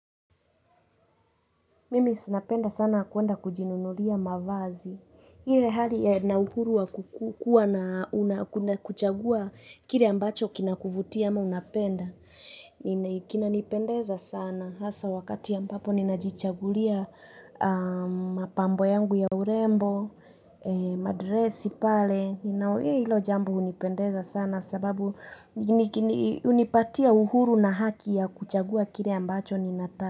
Mimi si napenda sana kuenda kujinunulia mavazi. Ile hali na uhuru wa kukua na kuchagua kile ambacho kinakuvutia ama unapenda. Kinanipendeza sana. Hasa wakati ambapo ninajichagulia mapambo yangu ya urembo, madresi pale. Hilo jambo hunipendeza sana sababu hunipatia uhuru na haki ya kuchagua kile ambacho.